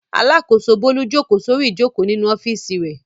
Alákòóso Bólú jókòó sórí ìjókòó nínú ọ́fíísì rẹ̀.